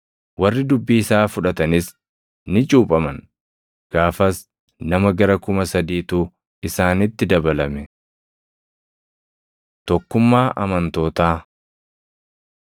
Warri dubbii isaa fudhatanis ni cuuphaman; gaafas nama gara kuma sadiitu isaanitti dabalame. Tokkummaa Amantootaa